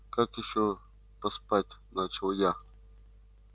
как ещё поспать начал я